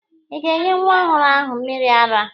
Ị ga-enye nwa ọhụrụ ahụ mmịrị ara!